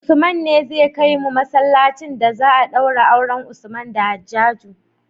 Usman ne zai kai mu masalacin da za a daura auren usman da hajaju